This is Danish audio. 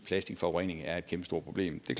plastikforurening er et kæmpestort problem det